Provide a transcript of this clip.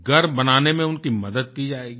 घर बनाने में उनकी मदद की जाएगी